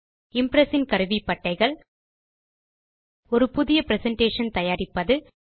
Impress இன் கருவிப்பட்டைகள் ஒரு புதிய பிரசன்டேஷன் ஐ தயாரிப்பது